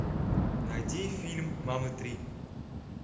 найди фильм мамы три